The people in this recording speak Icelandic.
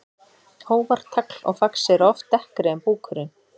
Hófar, tagl og fax eru oft dekkri en búkurinn.